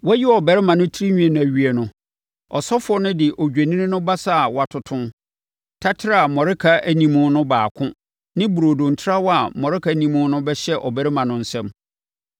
“Wɔayi ɔbarima no tirinwi no awie no, ɔsɔfoɔ no de odwennini no basa a wɔatoto, taterɛ a mmɔreka nni mu no baako ne burodo ntrawa a mmɔreka nni mu bɛhyɛ ɔbarima no nsam.